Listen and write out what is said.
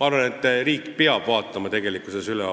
Ma arvan, et riik peab vaatama üle